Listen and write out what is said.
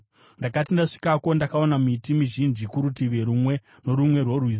Ndakati ndasvikako ndakaona miti mizhinji kurutivi rumwe norumwe rworwizi.